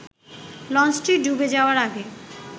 লঞ্চটি ডুবে যাওয়ার আগে